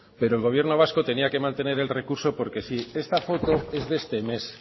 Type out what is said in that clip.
pero el gobierno vasco tenía que mantener el recurso esta foto es de este mes